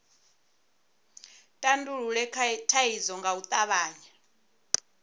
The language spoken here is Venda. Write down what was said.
tandulule thaidzo nga u tavhanya